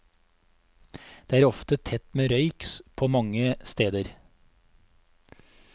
Det er ofte tett med røyk må mange steder.